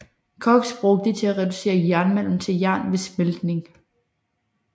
Koks bruges til at reducere jernmalm til jern ved smeltning